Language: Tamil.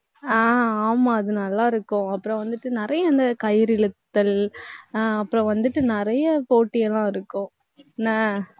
ஆஹ் ஆமா அது நல்லா இருக்கும். அப்புறம் வந்துட்டு, நிறைய அந்த கயிறு இழுத்தல் ஆஹ் அப்புறம் வந்துட்டு, நிறைய போட்டி எல்லாம் இருக்கும் என்ன